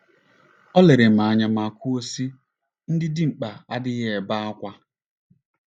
O lere m anya ma kwuo, sị, “ Ndị dimkpa adịghị ebe ákwá. ”